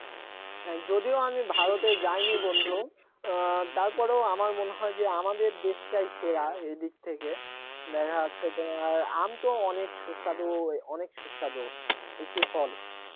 হ্যাঁ যদিও আমি ভারতে জানি বন্ধু অ্যাঁ তারপরও আমার মনে হয় যে আমাদের দেশটাই সেরা এদিক থেকে যাচ্ছে তোমার আম তো অনেক সুস্বাদু অনেক সুস্বাদু একটি ফল